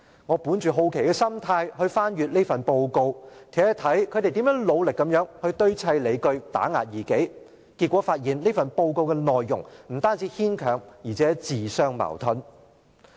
我本着好奇的心態翻閱這份報告，看看他們如何努力堆砌理據打壓異己，結果發現其內容不但牽強，而且自相矛盾。